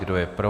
Kdo je pro?